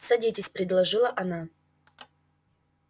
садитесь предложила она